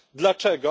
Dlaczego?